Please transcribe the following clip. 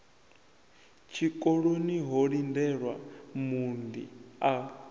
tshikoloni ho lindelwa muunḓi a